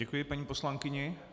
Děkuji paní poslankyni.